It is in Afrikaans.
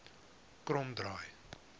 kromdraai